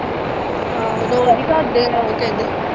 ਆਹੋ ਦੋ ਵਾਰੀ ਘਰ ਦੇ ਉਹ ਕਹਿੰਦੇ।